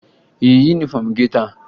Ị yi yunifọmụ gị taa?